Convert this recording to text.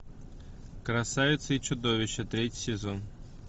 красавица и чудовище третий сезон